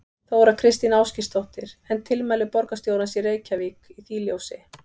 Þóra Kristín Ásgeirsdóttir: En tilmæli borgarstjórans í Reykjavík í því ljósi?